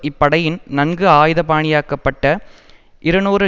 இப்படையில் நன்கு ஆயுத பாணியாக்கப்பட்ட இருநூறு